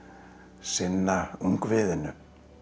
sinna ungviðinu